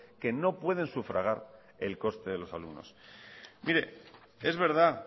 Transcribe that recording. que no pueden sufragar el coste de los alumnos mire es verdad